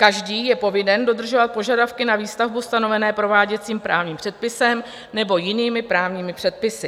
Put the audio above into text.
Každý je povinen dodržovat požadavky na výstavbu stanovené prováděcím právním předpisem nebo jinými právními předpisy.